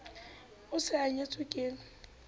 o se a nyetswe ke